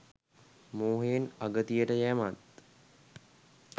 මෝහයෙන් අගතියට යැමත්